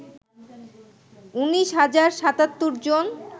১৯ হাজার ৭৭ জন